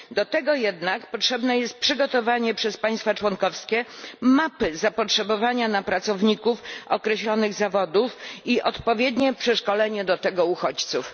Do tego jednak potrzebne jest przygotowanie przez państwa członkowskie mapy zapotrzebowania na pracowników określonych zawodów i odpowiednie przeszkolenie do tego uchodźców.